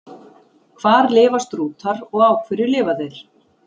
Hvar lifa strútar og á hverju lifa þeir?